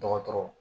Dɔgɔtɔrɔ